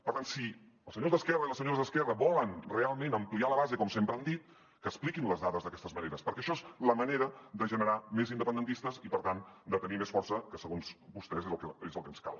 per tant si els senyors d’esquerra i les senyores d’esquerra volen realment ampliar la base com sempre han dit que expliquin les dades d’aquesta manera perquè això és la manera de generar més independentistes i per tant de tenir més força que segons vostès és el que ens cal